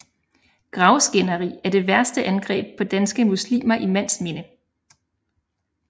Gravskænderi er det værste angreb på danske muslimer i mands minde